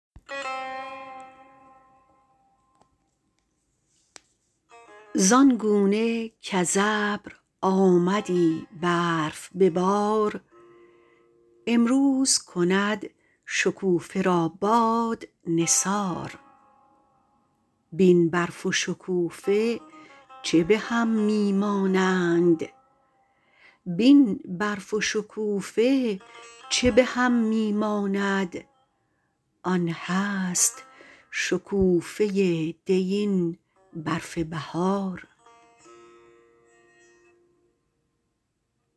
زان گونه کز ابر آمدی برف به بار امروز کند شکوفه را باد نثار بین برف و شکوفه چه به هم می مانند آن هست شکوفه دی این برف بهار